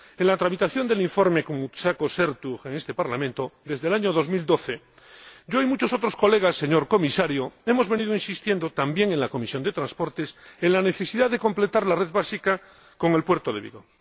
En la tramitación del informe con Koumoutsakos y Ertug en este Parlamento, desde el año 2012, yo y muchos otros diputados, señor Comisario, hemos venido insistiendo desde la Comisión de Transportes en la necesidad de completar la red principal con el puerto de Vigo.